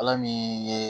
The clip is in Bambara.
Ala min ye